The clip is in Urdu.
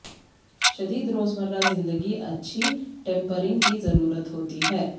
شدید روزمرہ زندگی اچھی ٹیمپرنگ کی ضرورت ہوتی ہے